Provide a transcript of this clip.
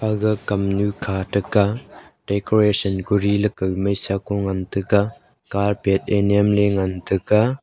aga kamnyu kha taga decoration leka maishako ngan taga carpet ea nyemley ngan taga.